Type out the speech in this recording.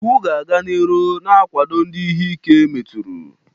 Iwu ga-aga n'iru na-agwado ndị ihe ike meturu.